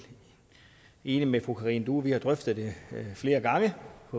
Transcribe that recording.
enig med fru karina due og vi har drøftet det flere gange